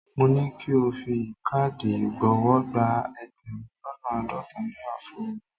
Mo ní ki o fi káàdì ìgbowó gba ẹgbẹ̀rún lọ́nà àádọ́ta náírà fún mi.